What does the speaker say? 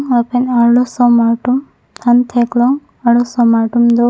lapen arlosomar tum han theklong arlosomar tum do.